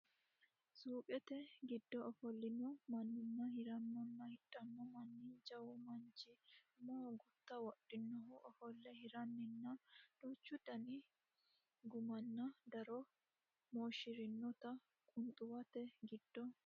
Suuqete giddo ofollino maannanna hirannonna hidhanno manna jawu manchi umoho gutta wodhinohu ofolle hiranninna duuchu dani gummanna daro mooshshinoonniti qunxuwate giddo no.